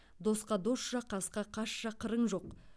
досқа досша қасқа қасша қырың жоқ